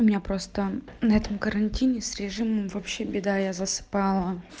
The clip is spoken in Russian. у меня просто на этом карантине с режимом вообще беда я засыпала